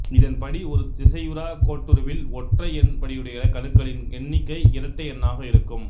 இதன்படி ஒரு திசையுறா கோட்டுருவில் ஒற்றையெண் படியுடைய கணுக்களின் எண்ணிக்கை இரட்டை எண்ணாக இருக்கும்